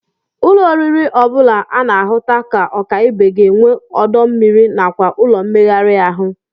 Ụlọ oriri ọ bụla a na-ahụta ka ọka ibe ga-enwe ọdọ mmiri nakwa ụlọ mmegharị ahụ